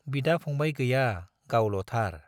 बिदा-फंबाय गैया गावल'थार।